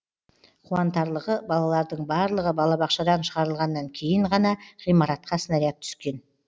қуантарлығы балалардың барлығы балабақшадан шығарылғаннан кейін ғана ғимаратқа снаряд түскен